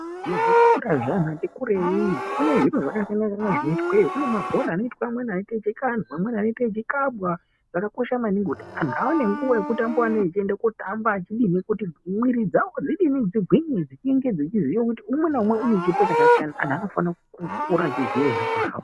Muzvikora zvevantu vati kurei kune zviro zvakasiyana zvoitweyo kune mabhora anoitweyoamweni eikandwa amweni anenge eikabwa zvakakosha maningi kuti antu aone nguwa yokotamba kuti mwiri dzawo dzidii dzigwinye unenge uchiziya kuti umwe naumwe une chipo chakasiyana antu anofana kukura uchiziya izvozvo.